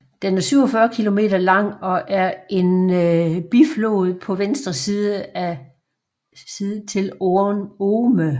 Den er 47 km lang og er en biflod på venstre side til Orne